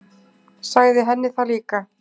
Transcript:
Sagði henni það líka.